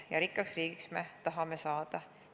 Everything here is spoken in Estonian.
Ja rikkaks riigiks me tahame saada.